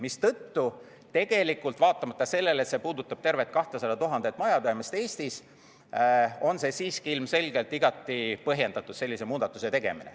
Mistõttu vaatamata sellele, et see puudutab tervelt 200 000 majapidamist Eestis, on sellise muudatuse tegemine siiski ilmselgelt igati põhjendatud.